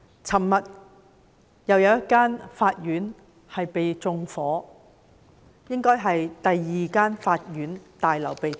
昨天又有一間法院被縱火，這應該是第二間被縱火的法院大樓。